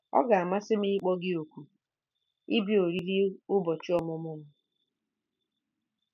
Ọ ga-amasị m ịkpọ gị òkù ịbịa oriri ụbọchị ọmụmụ m.